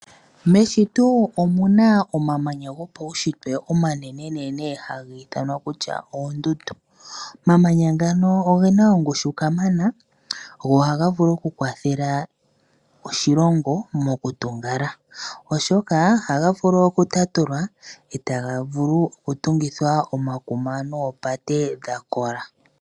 Meshito omu na omamanya gopaushitwe omanenenene haga ithanwa kutya oondundu. Omamanya ngano oge na ongushu kamana go ohaga vulu okukwathela oshilongo mokutungala, oshoka ohaga vulu okutatulwa e taga vulu okutungithwa omakuma noopate dha kola.